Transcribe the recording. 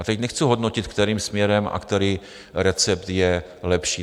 A teď nechci hodnotit, kterým směrem a který recept je lepší.